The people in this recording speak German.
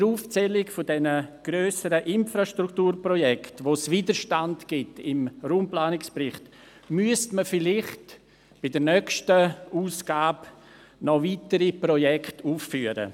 Bei der Aufzählung der grösseren Infrastrukturprojekte, bei denen es gemäss Raumplanungsbericht Widerstand gibt, müsste man vielleicht bei der nächsten Ausgabe noch weitere Projekte anfügen.